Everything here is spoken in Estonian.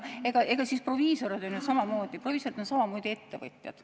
Proviisorid on ju samamoodi ettevõtjad.